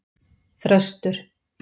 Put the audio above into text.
Þröstur